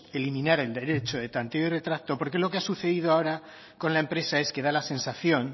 eliminar el derecho de tanteo y retracto porque lo ha sucedido ahora con la empresa es que da la sensación